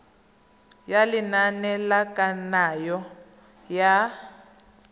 ya lenane la kananyo ya